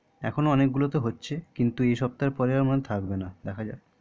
এখনো অনেক গুলোতে হচ্ছে কিন্তু দেখা যাক দুই সপ্তাহ পর আর থাকবেনা দেখা যাক